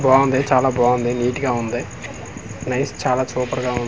బావుంది చాలా బావుంది నీట్ గా ఉంది నైస్ చాలా సూపర్ గా .